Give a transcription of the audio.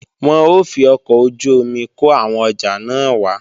Wọn ó fi ọkọ̀ ojú-omi kó àwọn ọjà náà wá